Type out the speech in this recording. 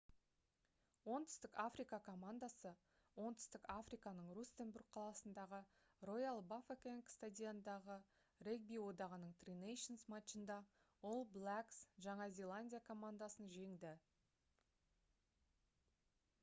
оңтүстік африка командасы оңтүстік африканың рустенбург қаласындағы роял бафокенг стадионындағы регби одағының tri nations матчында all blacks жаңа зеландия командасын жеңді